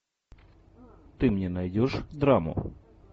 ты мне найдешь драму